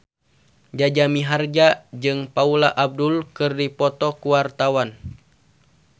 Jaja Mihardja jeung Paula Abdul keur dipoto ku wartawan